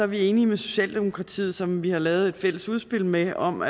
vi enige med socialdemokratiet som vi har lavet et fælles udspil med om